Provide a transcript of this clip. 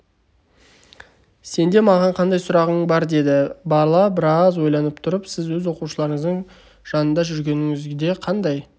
сенде маған қандай сұрағың бар деді бала біраз ойланып тұрып сіз өз оқушыларыңыздың жанында жүргеніңізде қандай